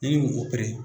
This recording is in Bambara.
Ni o